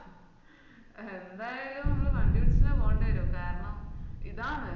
എന്തായാലും അമ്മാൾ വണ്ടി പിടിചെന്നേ പോണ്ടേരും കാരണം ഇതാണ്